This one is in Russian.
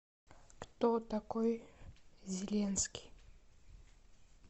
кто такой зеленский